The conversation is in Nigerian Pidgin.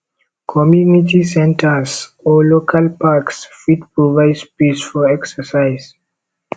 community centers or local parks fit provide space for exercise